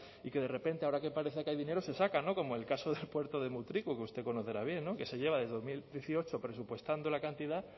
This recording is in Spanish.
y que de repente ahora que parece que hay dinero se saca no como el caso del puerto de mutriku que usted conocerá bien no que se lleva desde el dos mil dieciocho presupuestando la cantidad